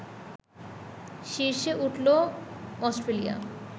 শীর্ষে উঠল অস্ট্রেলিয়া